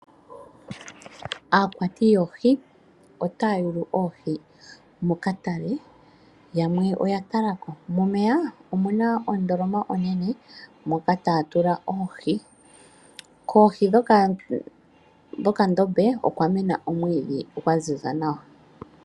Aakwati yoohi otaya yulu oohi mokatale, yamwe oya talako. Momeya omuna ondoloma onene moka taya tula oohi. Kohi dhokandombe okwa mena omwiidhi gwa ziza nawa.